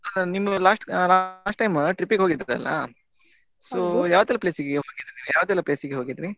ಅಲ್ಲ ನೀವ್ last time trip ಗೆ ಹೋಗಿದ್ರ್ ಅಲ so ಯಾವ್ದೆಲ್ಲಾ place ಗೆ ಹೋಗಿದ್ರಿ ಯಾವ್ದೆಲ್ಲಾ place ಗೆ ಹೋಗಿದ್ರಿ.